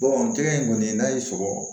jɛgɛ in kɔni n'a y'i sɔrɔ